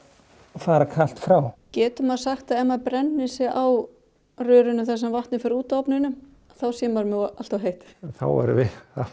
fara kalt frá getum maður sagt að ef maður brennir sig á rörinu þar sem vatnið fer út af ofninum þá sé maður með allt of heitt þá erum við í